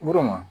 Woloma